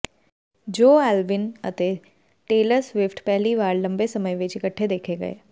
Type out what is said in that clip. Joe Alwyn ਅਤੇ Taylor Swift ਪਹਿਲੀ ਵਾਰ ਲੰਬੇ ਸਮੇਂ ਵਿਚ ਇਕਠੇ ਦੇਖੇ ਗਏ